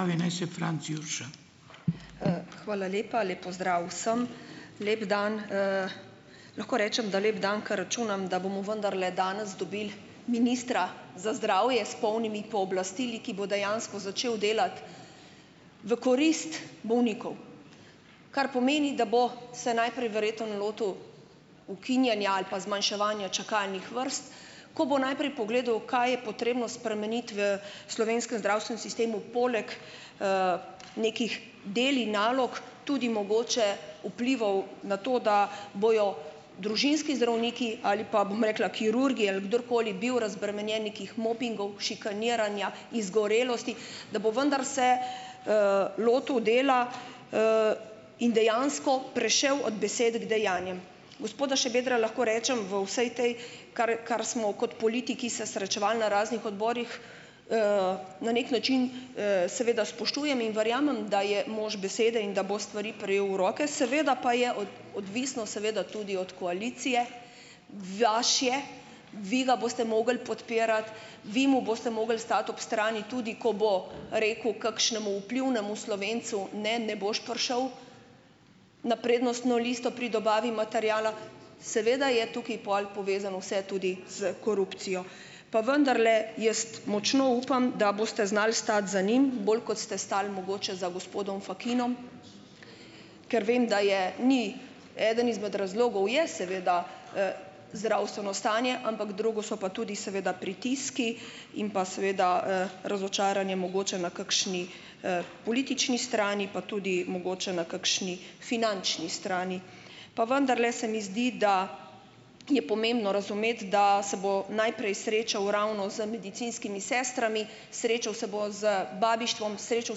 Hvala lepa. Lep pozdrav vsem! Lep dan! Lahko rečem, da lep dan, ko računam, da bomo vendarle danes dobili ministra za zdravje s polnimi pooblastili, ki bo dejansko začel delati v korist bolnikov. Kar pomeni, da bo se najprej verjetno lotil ukinjanja ali pa zmanjševanja čakalnih vrst, ko bo najprej pogledal, kaj je potrebno spremeniti v slovenskem zdravstvenem sistemu poleg nekih del in nalog tudi mogoče vplivov na to, da bojo družinski zdravniki ali, bom rekla, kirurgi ali kdorkoli bil razbremenjen nekih mobingov, šikaniranja, izgorelosti, da bo vendar se lotil dela in dejansko prešel od besede k dejanjem. Gospoda Šabedra, lahko rečem, v vsej tej, kar smo kot politiki se srečevali na raznih odborih, na nek način seveda spoštujem in verjamem, da je mož besede in da bo stvari prijel v roke, seveda pa je odvisno seveda tudi od koalicije, vi ga boste mogli podpirati, vi mu boste mogli stati ob strani, tudi ko bo rekel kakšnemu vplivnemu Slovencu: "Ne, ne boš prišel na prednostno listo pri dobavi materiala." Seveda je tukaj pol povezano vse tudi s korupcijo, pa vendarle jaz močno upam, da boste znali stati za njim, bolj kot ste stali mogoče za gospodom Fakinom, ker vem, da je ni, eden izmed razlogov je seveda zdravstveno stanje, ampak drugo so pa tudi seveda pritiski in pa seveda razočaranje mogoče na kakšni politični strani, pa tudi mogoče na kakšni finančni strani. Pa vendarle se mi zdi, da je pomembno razumeti, da se bo najprej srečal ravno z medicinskimi sestrami, srečal se bo z babištvom, srečal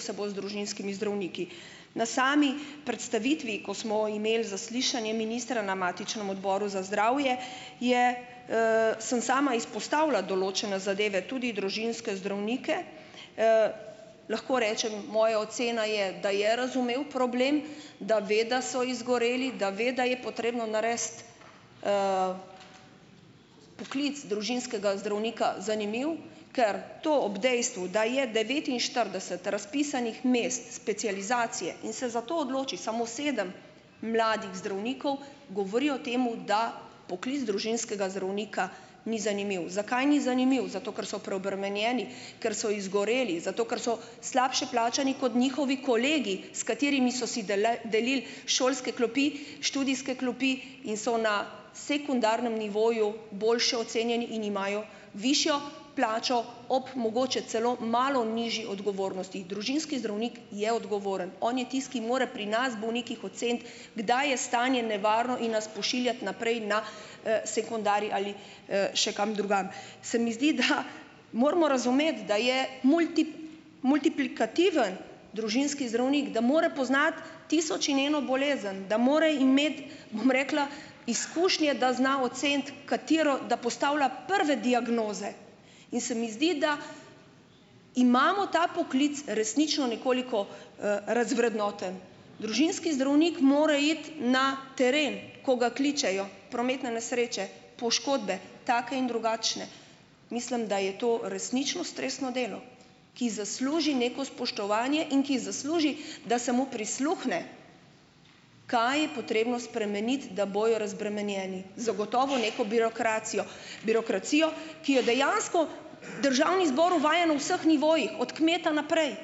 se bo z družinskimi zdravniki. Na sami predstavitvi, ko smo imeli zaslišanje ministra na matičnem odboru za zdravje, je sem sama izpostavila določene zadeve, tudi družinske zdravnike, lahko rečem, moja ocena je, da je razumel problem, da ve, da so izgoreli, da ve, da je potrebno narediti poklic družinskega zdravnika zanimiv, ker to ob dejstvu, da je devetinštirideset razpisanih mest specializacije, in se zato odloči samo sedem mladih zdravnikov, govori o tem, da poklic družinskega zdravnika ni zanimiv. Zakaj ni zanimiv? Zato ker so preobremenjeni, ker so izgoreli, zato ker so slabše plačani kot njihovi kolegi, s katerimi so si delili šolske klopi, študijske klopi in so na sekundarnem nivoju boljše ocenjeni in imajo višjo plačo ob mogoče celo malo nižji odgovornosti. Družinski zdravnik je odgovoren. On je tisti, ki mora pri nas bolnikih oceniti, kdaj je stanje nevarno, in nas pošiljati naprej na sekundarij ali še kam drugam. Se mi zdi, da moramo razumeti, da je multiplikativen družinski zdravnik, da mora poznati tisoč in eno bolezen, da mora imeti, bom rekla, izkušnje, da zna oceniti katero, da postavlja prve diagnoze, in se mi zdi, da imamo ta poklic resnično nekoliko razvrednoten. Družinski zdravnik mora iti na teren, ko ga kličejo, prometne nesreče, poškodbe, take in drugačne. Mislim, da je to resnično stresno delo, ki zasluži neko spoštovanje in ki zasluži, da se mu prisluhne, kaj je potrebno spremeniti, da bojo razbremenjeni. Zagotovo neko birokracijo, birokracijo, ki je dejansko Državni zbor uvaja na vseh nivojih, od kmeta naprej.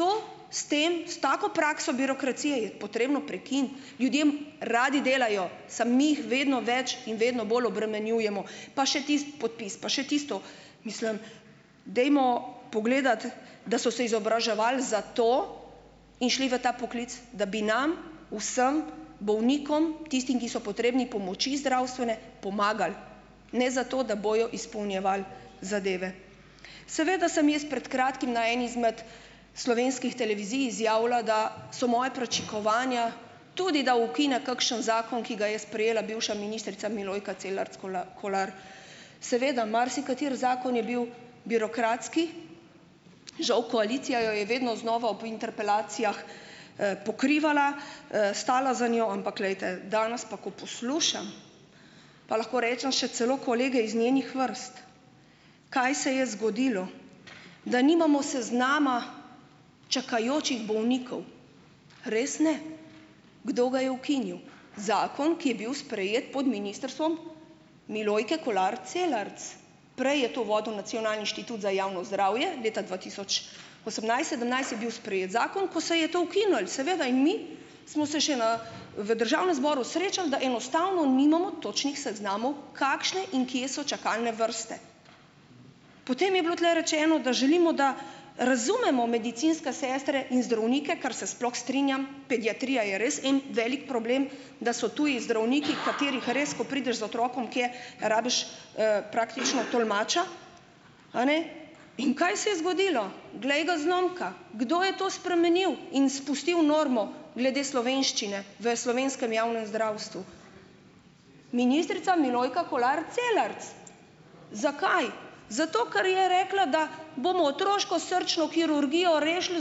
To s tem, s tako prakso birokracije je potrebno prekiniti. Ljudje radi delajo, samo mi jih vedno več in vedno bolj obremenjujemo, pa še tisti podpis, pa še tisto. Mislim, dajmo pogledati, da so se izobraževali za to in šli v ta poklic, da bi nam vsem bolnikom, tistim, ki so potrebni pomoči zdravstvene, pomagali, ne zato, da bojo izpolnjevali zadeve. Seveda sem jaz pred kratkim na eni izmed slovenskih televizij izjavila, da so moja pričakovanja tudi, da ukine kakšen zakon, ki ga je sprejela bivša ministrica, Milojka Celarc Kolar. Seveda, marsikateri zakon je bil birokratski, žal koalicija jo je vedno znova ob interpelacijah pokrivala, stala za njo, ampak glejte, danes pa, ko poslušam, pa lahko rečem, še celo kolege iz njenih vrst, kaj se je zgodilo, da nimamo seznama čakajočih bolnikov. Res ne? Kdo ga je ukinil? Zakon, ki je bil sprejet pod ministrstvom Milojke Kolar Celarc. Prej je to vodil Nacionalni inštitut za javno zdravje, leta dva tisoč osemnajst, sedemnajst je bil sprejet zakon, ko se je to ukinilo, seveda, in mi smo se še v državnem zboru srečali, da enostavno nimamo točnih seznamov kakšne in kje so čakalne vrste. Potem je bilo tule rečeno, da želimo, da razumemo medicinske sestre in zdravnike, kar se sploh strinjam, pediatrija je res en velik problem, da so tudi zdravniki, katerih res, ko prideš z otrokom kaj, rabiš praktično tolmača. A ne. In kaj se je zgodilo? Glej ga zlomka, kdo je to spremenil in spustil normo glede slovenščine v slovenskem javnem zdravstvu. Ministrica Milojka Kolar Celarc. Zakaj? Zato ker je rekla, da bomo otroško srčno kirurgijo rešili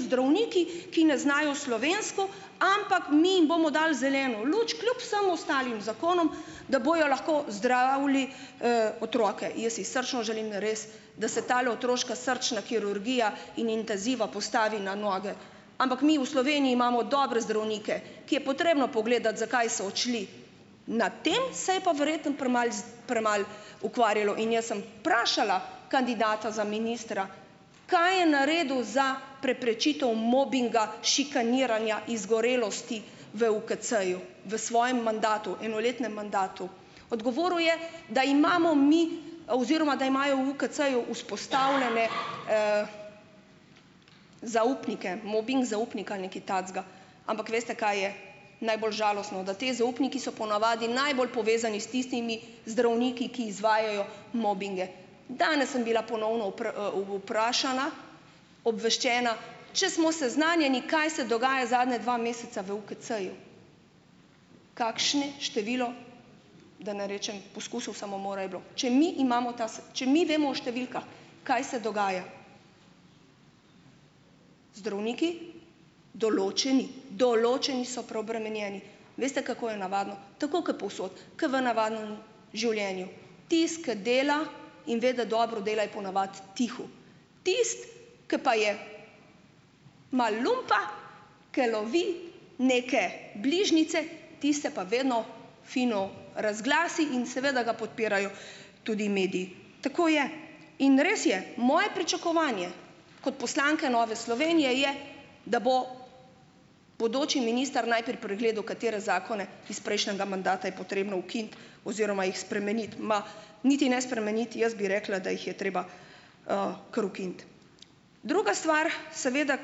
zdravniki, ki ne znajo slovensko, ampak mi jim bomo dali zeleno luč, kljub vsem ostalim zakonom, da bojo lahko zdravili otroke. Jaz si srčno želim, res, da se tale otroška srčna kirurgija in intenziva postavi na noge, ampak mi v Sloveniji imamo dobre zdravnike, ki je potrebno pogledati, zakaj so odšli. Na tem se je pa verjetno premalo premalo ukvarjalo in jaz sem vprašala kandidata za ministra, kaj je naredil za preprečitev mobinga, šikaniranja, izgorelosti v UKC-ju v svojem mandatu, enoletnem mandatu. Odgovoril je, da imamo mi oziroma da imajo v UKC-ju vzpostavljene zaupnike, mobing zaupnik ali nekaj takega. Ampak veste, kaj je najbolj žalostno, da ti zaupniki so ponavadi najbolj povezani s tistimi zdravniki, ki izvajajo mobinge. Danes sem bila ponovno vprašana, obveščena, če smo seznanjeni, kaj se dogaja zadnja dva meseca v UKC-ju, kakšne število, da ne rečem poskusov samomora je bilo. Če mi imamo ta če mi vemo o številkah, kaj se dogaja. Zdravniki, določeni, določeni so preobremenjeni. Veste, kako je navadno, tako kot povsod, ker v navadnem življenju, tisti, ki dela, in ve, da dobro dela, je ponavadi tiho. Tisti, ko pa je malo lumpa, ker lovi neke bližnjice, tiste pa vedno fino razglasi in seveda ga podpirajo tudi mediji. Tako je. In res je, moje pričakovanje kot poslanke Nove Slovenije je, da bo bodoči minister najprej pregledal, katere zakone iz prejšnjega mandata je potrebno ukiniti oziroma jih spremeniti, ma niti ne spremeniti, jaz bi rekla, da jih je treba kar ukiniti. Druga stvar seveda,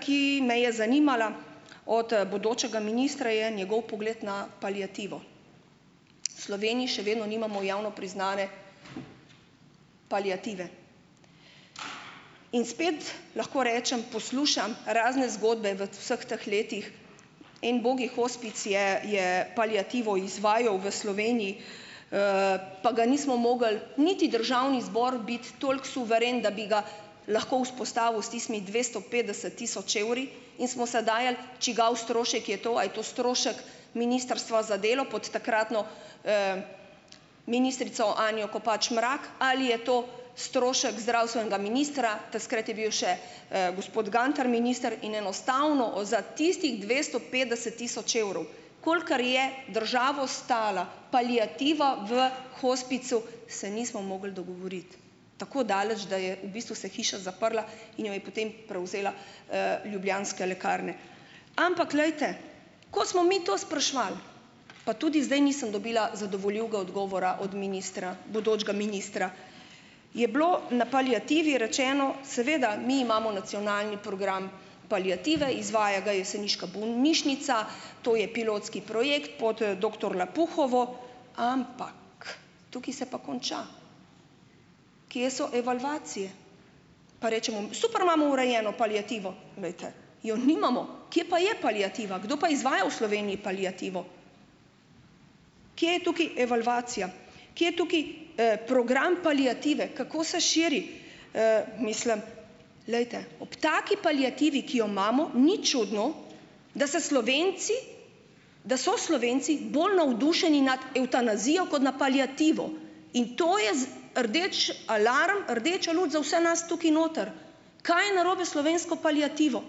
ki me je zanimala od bodočega ministra, je njegov pogled na paliativo. V Sloveniji še vedno nimamo javno priznane paliative. In spet lahko rečem, poslušam razne zgodbe v vseh teh letih, en ubogi hospic je je paliativo izvajal v Sloveniji, pa ga nismo mogli niti Državni zbor biti toliko suveren, da bi ga lahko vzpostavil s tistimi dvesto petdeset tisoč evri, in smo se dajali, čigav strošek je to, a je to strošek ministrstva za delo pod takratno ministrico Anjo Kopač Mrak ali je to strošek zdravstvenega ministra, takrat je bil še gospod Gantar minister in enostavno za tistih dvesto petdeset tisoč evrov, kolikor je državo stala paliativa v hospicu, se nismo mogli dogovoriti. Tako daleč, da je v bistvu se hiša zaprla in jo je potem prevzela Ljubljanske lekarne. Ampak glejte, ko smo mi to spraševali, pa tudi zdaj nisem dobila zadovoljivega odgovora od ministra, bodočega ministra. Je bilo na paliativi rečeno: "Seveda, mi imamo nacionalni program paliative, izvaja ga jeseniška bolnišnica, to je pilotski projekt pod doktor Lapuhovo." Ampak tukaj se pa konča. Kje so evalvacije? Pa rečemo: "Super imamo urejeno paliativo, glejte, jo nimamo." Kje pa je paliativa? Kdo pa izvaja v Sloveniji paliativo? Kaj je tukaj evalvacija? Kaj je tukaj program paliative? Kako se širi? Mislim, glejte, ob taki paliativi, ki jo imamo, ni čudno, da se Slovenci, da so Slovenci bolj navdušeni nad evtanazijo kot nad paliativo in to je rdeči alarm, rdeča luč za vse nas tukaj notri. Kaj je narobe slovensko paliativo?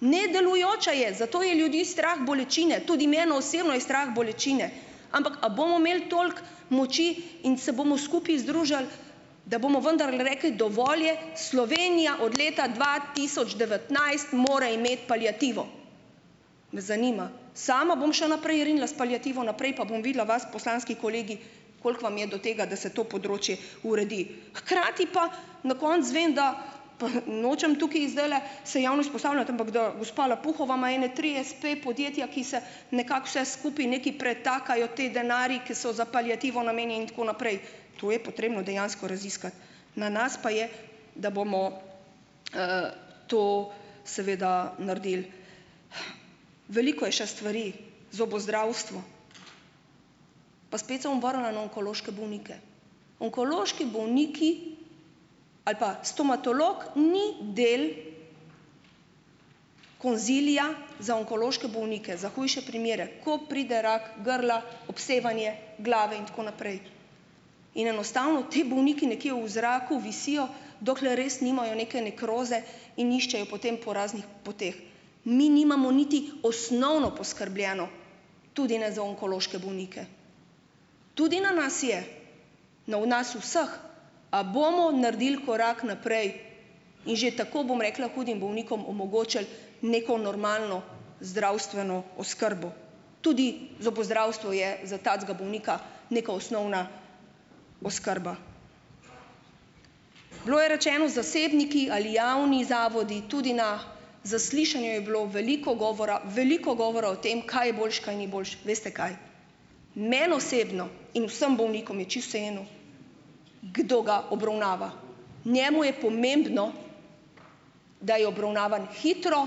Nedelujoča je, zato je ljudi strah bolečine, tudi mene osebno je strah bolečine, ampak a bomo imeli toliko moči in se bomo skupaj združili, da bomo vendarle rekli: "Dovolj je, Slovenija od leta dva tisoč devetnajst mora imeti paliativo!" Me zanima, sama bom še naprej rinila s paliativo naprej pa bom videla vas, poslanski kolegi, koliko vam je do tega, da se to področje uredi. Hkrati pa na koncu izvem, da, pa nočem tukaj zdajle se javno izpostavljati, ampak, da gospa Lapuhova ima ene tri espe podjetja, ki se nekako vse skupaj nekaj pretakajo ti denarji, ki so za paliativo namenjeni, in tako naprej. To je potrebno dejansko raziskati. Na nas pa je, da bomo to seveda naredili. Veliko je še stvari. Zobozdravstvo. Pa spet se bom vrnila na onkološke bolnike. Onkološki bolniki, ali pa stomatolog ni del konzilija za onkološke bolnike, za hujše primere, ko pride rak grla, obsevanje glave in tako naprej. In enostavno ti bolniki nekje v zraku visijo, dokler res nimajo neke nekroze in iščejo potem po raznih poteh. Mi nimamo niti osnovno poskrbljeno tudi ne za onkološke bolnike. Tudi na nas je, na nas vseh, a bomo naredili korak naprej, in že tako, bom rekla, hudim bolnikom omogočili neko normalno zdravstveno oskrbo. Tudi zobozdravstvo je za takega bolnika neka osnovna oskrba. Bilo je rečeno: zasebniki ali javni zavodi, tudi na zaslišanju je bilo veliko govora, veliko govora o tem, kaj je boljše, kaj ni boljše. Veste kaj, meni osebno in vsem bolnikom je čisto vseeno, kdo ga obravnava, njemu je pomembno, da je obravnavan hitro,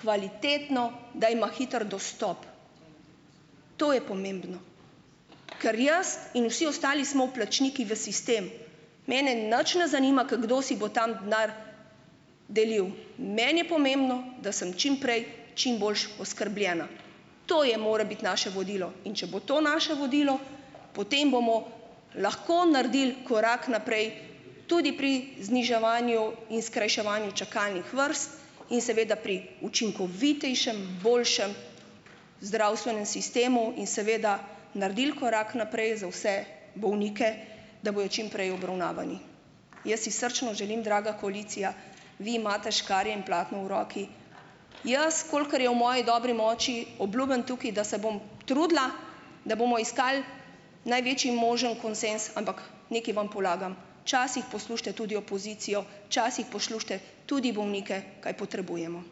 kvalitetno, da ima hiter dostop. To je pomembno. Ker jaz in vsi ostali smo vplačniki v sistem, mene nič ne zanima, kdo si bo tam denar delil. Meni je pomembno, da sem čim prej čim boljše oskrbljena. To je more biti naše vodilo, in če bo to naše vodilo, potem bomo lahko naredili korak naprej, tudi pri zniževanju in skrajševanju čakalnih vrst in seveda pri učinkovitejšem, boljšem zdravstvenem sistemu in seveda naredili korak naprej za vse bolnike, da bojo čim prej obravnavani. Jaz si srčno želim, draga koalicija, vi imate škarje in platno v roki. Jaz, kolikor je v moji dobri moči, obljubim tukaj, da se bom trudila, da bomo iskali največji možni konsenz, ampak nekaj vam polagam: "Včasih poslušajte tudi opozicijo, včasih poslušajte tudi bolnike, kaj potrebujemo."